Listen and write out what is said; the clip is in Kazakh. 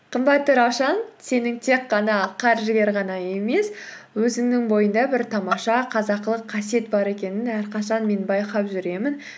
қымбатты раушан сенің тек қана қаржыгер ғана емес өзіңнің бойыңда бір тамаша қазақылық қасиет бар екенін әрқашан мен байқап жүремін